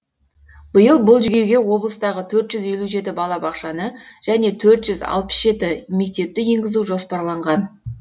биыл бұл жүйеге облыстағы төрт жүз елу жеті балабақшаны және төрт жүз алпыс жеті мектепті енгізу жоспарланған